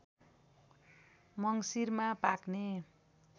मङ्सिरमा पाक्ने